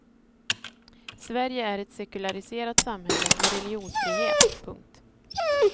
Sverige är ett sekulariserat samhälle med religionsfrihet. punkt